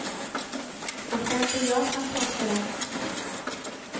Och det är inte jag som påstår det.